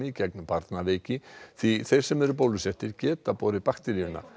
gegn barnaveiki því þeir sem eru bólusettir geta borið bakteríuna